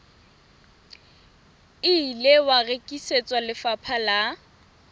ile wa rekisetswa lefapha la